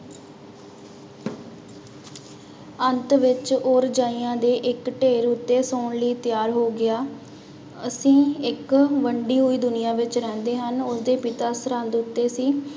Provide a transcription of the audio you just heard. ਅੰਤ ਵਿੱਚ ਉਹ ਰਜਾਈਆਂ ਦੇ ਇੱਕ ਢੇਰ ਉੱਤੇ ਸੌਣ ਲਈ ਤਿਆਰ ਹੋ ਗਿਆ, ਅਸੀਂ ਇੱਕ ਵੰਡੀ ਹੋਈ ਦੁਨੀਆਂ ਵਿੱਚ ਰਹਿੰਦੇ ਹਨ, ਉਹਦੇ ਪਿਤਾ ਸਰਹਦ ਉੱਤੇ ਸੀ।